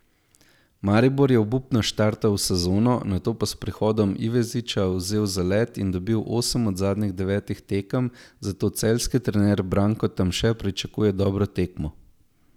Maribor je obupno štartal v sezono, nato pa s prihodom Iveziča vzel zalet in dobil osem od zadnjih devetih tekem, zato celjski trener Branko Tamše pričakuje dobro tekmo.